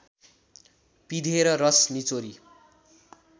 पिँधेर रस निचोरी